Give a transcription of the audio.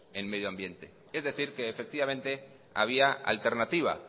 en medioambiente es decir que efectivamente había alternativa